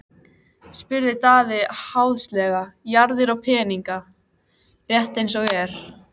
spurði Daði háðslega: Jarðir og peninga, rétt eins og ég.